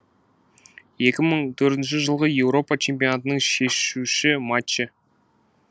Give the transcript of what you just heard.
екі мың төртінші жылғы еуропа чемпионатының шешуші матчы